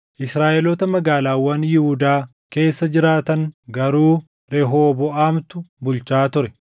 Israaʼeloota magaalaawwan Yihuudaa keessa jiraatan garuu Rehooboʼaamtu bulchaa ture.